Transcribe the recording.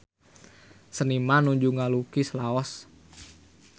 Seniman nuju ngalukis Laos